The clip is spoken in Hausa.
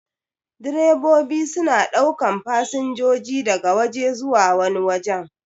Direbobi suna ɗaukan fasinjoji daga waje zuwa wani wajen.